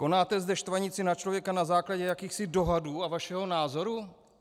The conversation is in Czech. Konáte zde štvanici na člověka na základě jakýchsi dohadů a vašeho názoru?